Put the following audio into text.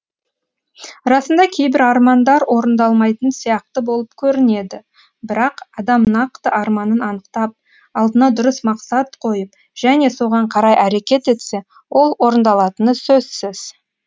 расында кейбір армандар орындалмайтын сияқты болып көрінеді бірақ адам нақты арманын анықтап алдына дұрыс мақсат қойып және соған қарай әрекет етсе ол орындалатыны сөзсіз